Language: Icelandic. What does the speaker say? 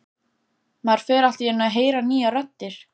Maður fer allt í einu að heyra nýjar raddir.